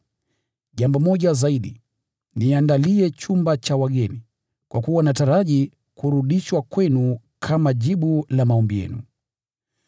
Jambo moja zaidi: Niandalie chumba cha wageni, kwa kuwa nataraji kurudishwa kwenu kama jibu la maombi yenu.